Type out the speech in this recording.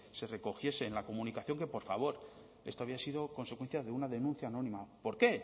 se recogiese en la comunicación que por favor esto había sido consecuencia de una denuncia anónima por qué